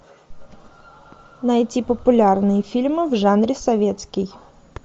найти популярные фильмы в жанре советский